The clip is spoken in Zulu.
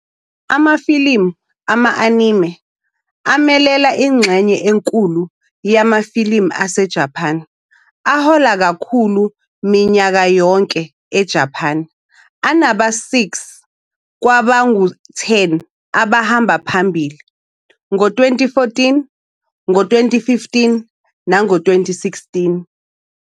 Amafilimu ama-Anime amelela ingxenye enkulu yamafilimu aseJapan ahola kakhulu minyaka yonke eJapan, anaba-6 kwabangu-10 abahamba phambili ngo-2014, ngo-2015 nango- 2016.